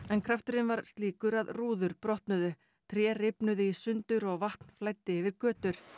en krafturinn var slíkur að rúður brotnuðu tré rifnuðu í sundur og vatn flæddi yfir götur